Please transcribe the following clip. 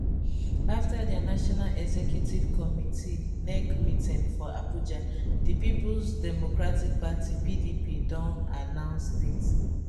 afta dia national executive committee nec meeting for abuja di peoples democratic party pdp don announce date